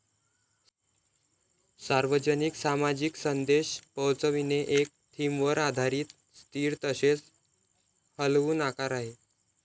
सार्वजनिक सामाजिक संदेश पोहोचविणे एक थीमवर आधारित स्थिर तसेच हलवून आकार आहेत